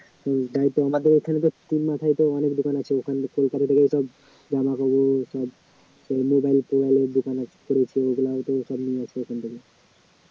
আমাদের ওখানে তো তিনমাথায় তো অনেক দোকান আছে জামাকাপড় ‍ওসব mobile টোবাইলের দোকান সব নিয়ে আসে ওখান থেকে